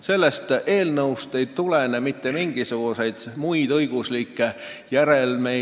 Sellel eelnõul, kui see otsuseks saab, ei ole mitte mingisuguseid muid õiguslikke järelmeid.